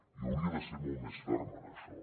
i hauria de ser molt més ferm en això